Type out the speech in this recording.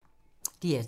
DR2